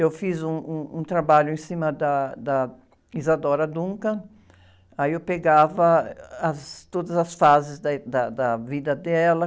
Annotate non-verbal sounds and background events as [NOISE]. Eu fiz um, um, um trabalho em cima da, da Isadora Duncan, aí eu pegava as, todas as fases da, [UNINTELLIGIBLE] da, da vida dela.